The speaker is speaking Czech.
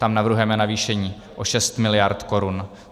Tam navrhujeme navýšení o 6 mld. korun.